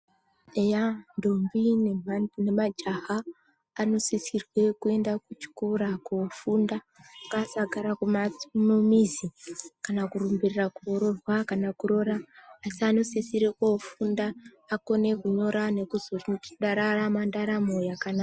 Eya, ndombi nemajaha anosisirwe kuenda kuchikora kofunda, ngasagara kumha- mumizi kana kurumbirira koroorwa kana kuroora, asi anosisira kofunda akone kunyora nokuzondorarama ndaramo yakanaka.